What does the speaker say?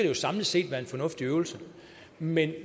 jo samlet set være en fornuftig øvelse men